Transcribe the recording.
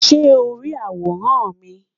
Ṣe o ri aworan mi?